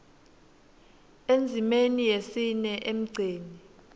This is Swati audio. endzimeni yesine emgceni